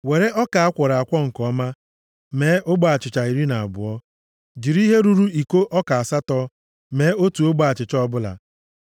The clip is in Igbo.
“Were ọka a kwọrọ nke ọma mee ogbe achịcha iri na abụọ. Jiri ihe ruru iko ọka asatọ mee otu ogbe achịcha ọbụla.